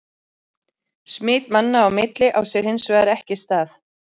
Smit manna á milli á sér hins vegar ekki stað.